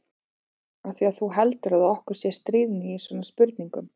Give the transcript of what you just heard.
Af því að þú heldur að okkur sé stríðni í svona spurningum.